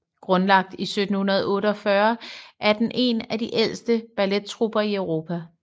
Grundlagt i 1748 er den en af de ældste ballettrupper i Europa